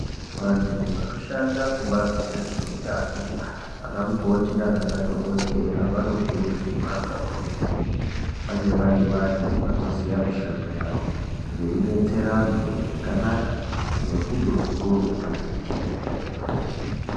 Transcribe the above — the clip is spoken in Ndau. Vantu vanoshanda kubazi rezveutano vana mukoti nana madhokdheya vanokurudzirwa kakurutu kuti vange vari vantu vanoziya mushando yawo veidetsera antu zvakanaka ngerudo rukurutu.